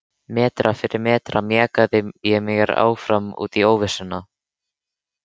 Metra fyrir metra mjakaði ég mér áfram út í óvissuna.